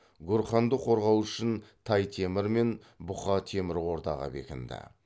гурханды қорғау үшін тай темір мен бұқа темір ордаға бекінді